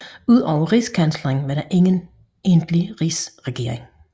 Udover rigskansleren var der ingen egentlig rigsregering